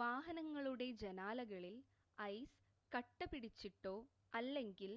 വാഹനങ്ങളുടെ ജനാലകളിൽ ഐസ് കട്ടപിടിച്ചിട്ടോ അല്ലെങ്കിൽ